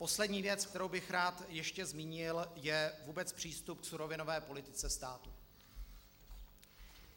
Poslední věc, kterou bych rád ještě zmínil, je vůbec přístup k surovinové politice státu.